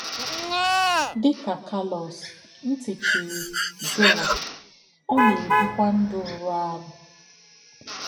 Dị ka Carlos, ntị chiri João, ọ na-ebịkwa ndụ rụrụ arụ.